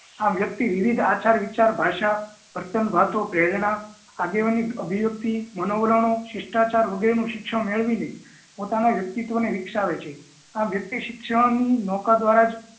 આમ વ્યક્તિ વિવિધ આચાર વિચાર ભાષા પ્રેરણા આગેવાની અભિવ્યક્તિ મનોવલણ શિસ્ટાચાર વગેરેનું શિક્ષણ મેળવીને પોતાના વ્યક્તિત્વ ને વિકસાવે છે આમ વ્યકિત શિક્ષણ નું મોકા દ્વારા જ